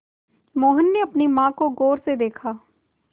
मोहन ने अपनी माँ को गौर से देखा